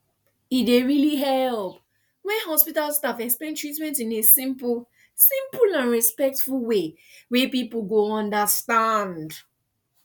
e really dey help when hospital staff explain treatment in a simple simple and respectful way wey people go understand